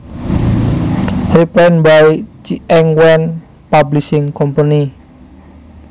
Reprint by Ch eng Wen Publishing Company